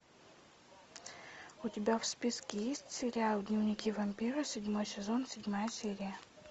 у тебя в списке есть сериал дневники вампира седьмой сезон седьмая серия